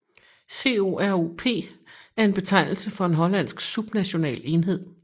COROP er en betegnelse for en hollandsk subnational enhed